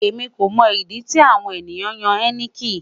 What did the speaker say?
Emi ko mo idi ti awon eniyan ya heineken